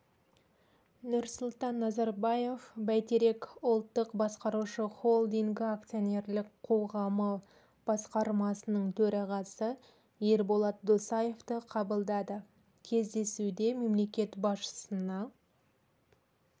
нұрсұлтан назарбаев бәйтерек ұлттық басқарушы холдингі акционерлік қоғамы басқармасының төрағасы ерболат досаевты қабылдады кездесуде мемлекет басшысына